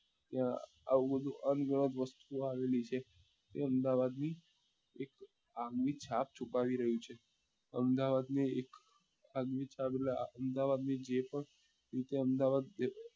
ત્યાં આવું બધું અન ગણાત વસ્તુઓ આવેલી છે એ અમદાવાદ ની આવ્મી છાપ છુપાવી રહ્યું છે અમદાવાદ ની એક અગ્નિ છાપ એટલે આ અમદાવાદ ની જે પણ